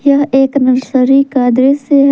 यह एक नर्सरी का दृश्य ह--